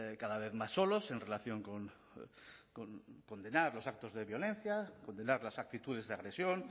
cada vez más solos en relación con condenar los actos de violencia condenar las actitudes de agresión